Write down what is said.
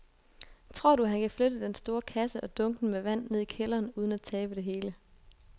Tror du, at han kan flytte den store kasse og dunkene med vand ned i kælderen uden at tabe det hele?